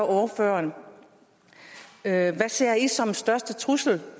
ordføreren hvad ser i som den største trussel